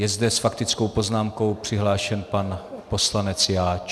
Je zde s faktickou poznámkou přihlášen pan poslanec Jáč.